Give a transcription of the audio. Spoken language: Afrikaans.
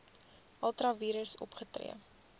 ultra vires opgetree